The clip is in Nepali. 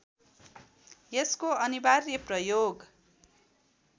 यसको अनिवार्य प्रयोग